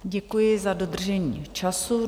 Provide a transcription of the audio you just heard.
Děkuji za dodržení času.